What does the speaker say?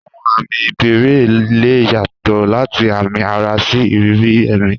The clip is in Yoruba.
Àwọn àmì ìbẹ̀rẹ̀ lè yàtọ̀ láti àmì ara sí ìrírí ẹ̀mí.